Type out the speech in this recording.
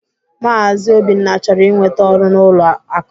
Maazi Obinna chọrọ inwete ọru n'ụlọ akụ